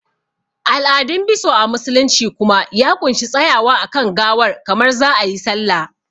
Al'adun biso a musulunci kuma ya ƙunshi tsayawa a kan gawar kamar za a yi sallah